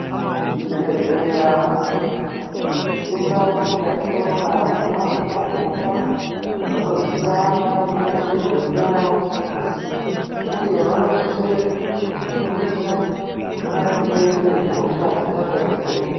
Zvibhedhleya indau yatinoona ana mazvikokota anoziya maringe ngezveutano uye vanosise kuti fundisa maringe ngezvee hosha dzingadai dzeinesa.